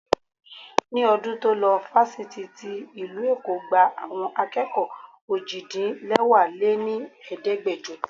Ní ọdún to lo Fáfitì tí ìlú Èkó gba àwọn akẹ́kọ̀ọ́ òjì-dín-lẹwá lé ní Ẹ̀ẹ́dẹ́gbẹjọ.